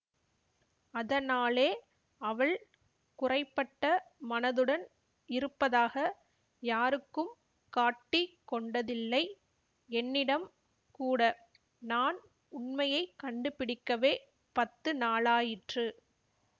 அதனாலே அவள் குறைபட்ட மனதுடன் இருப்பதாக யாருக்கும் காட்டிக் கொண்டதில்லை என்னிடம் கூட நான் உண்மையை கண்டுபிடிக்கவே பத்து நாளாயிற்று